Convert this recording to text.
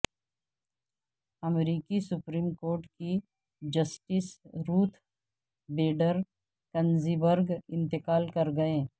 امریکی supreme court کی justice Ruth Bader Ginsburg انتقال کر گئیں